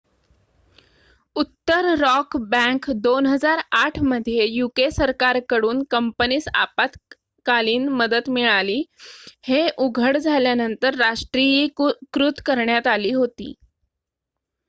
उत्तर Rock bank 2008 मध्ये UK सरकार कडून कंपनीस आपत्कालीन मदत मिळाली हे उघड झाल्यानंतर राष्ट्रीयीकृत करण्यात आली होती